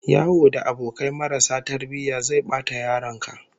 Yawo da abokai marasa tarbiyya zai bata yaron ka